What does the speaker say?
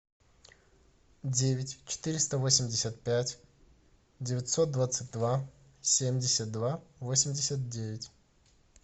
девять четыреста восемьдесят пять девятьсот двадцать два семьдесят два восемьдесят девять